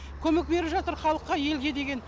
көмек беріп жатыр халыққа елге деген